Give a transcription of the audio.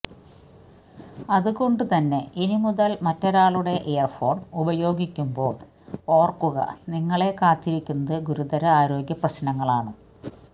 അതുകൊണ്ടു തന്നെ ഇനി മുതല് മറ്റൊരാളുടെ ഇയര്ഫോണ് ഉപയോഗിക്കുമ്പോള് ഓര്ക്കുക നിങ്ങളെ കാത്തിരിക്കുന്നത് ഗുരുതര ആരോഗ്യപ്രശ്നങ്ങളാണ്